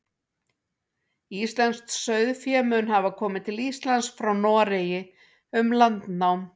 íslenskt sauðfé mun hafa komið til íslands frá noregi um landnám